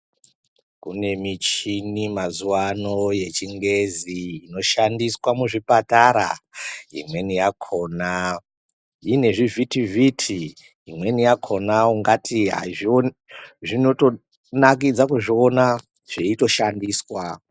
Kune muchini mazuwa ano yechingezi inoshandiswa muzvipatara. Imweni yakona ine zvivhitivhiti, imweni yakona ungati azvi.. zvinotonakidza kuzviona zveitoshandiswa.